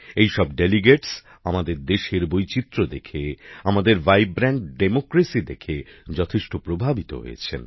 এইসব প্রতিনিধি আমাদের দেশের বৈচিত্র্য দেখে আমাদের প্রাণবন্ত গণতন্ত্র দেখে যথেষ্ট প্রভাবিত হয়েছেন